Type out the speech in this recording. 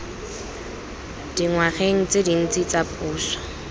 dingwageng tse dintsi tsa puso